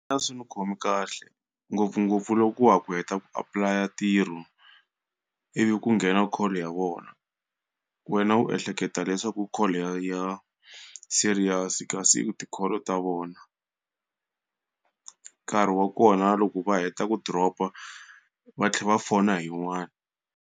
A swi ndzi khomi kahle ngopfungopfu loko wa ha ku heta ku apply-a ntirho, ivi ku nghena call ya vona. Wena u ehleketa leswaku i call ya ya serious kasi i ti-call ta vona nkarhi wa kona loko va heta ku drop-a, va tlhela va fona hi yin'wana.